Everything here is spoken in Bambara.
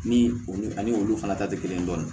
Ni olu ani olu fana ta tɛ kelen dɔɔnin